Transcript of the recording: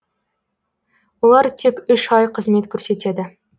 олар тек үш ай қызмет көрсетеді